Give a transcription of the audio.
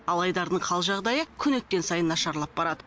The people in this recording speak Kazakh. ал айдардың қал жағдайы күн өткен сайын нашарлап барады